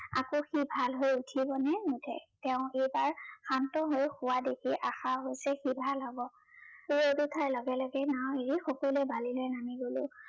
আকৌ সি ভাল হৈ উঠিবনে নোঠে তেও এইবাৰ শান্ত হৈ শুৱা দেখি আশা হৈছে সি ভাল হব। সেয়ে এইবোৰ খাই লগে লগে নাও এৰি সকলোৱে বালিলে নামি গলো